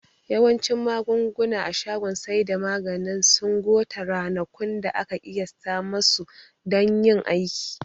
Yawancin magunguna a shagon saida maganin cen sun gota ranakun da aka ƙiyasata masu dan yin aiki